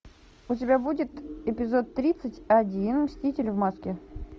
у тебя будет эпизод тридцать один мститель в маске